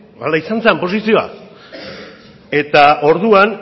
hala izan zan posizioa eta orduan